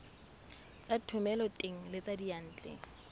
tsa thomeloteng le tsa diyantle